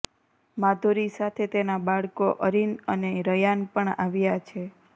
માધુરી સાથે તેના બાળકો અરિન અને રયાન પણ આવ્યા છે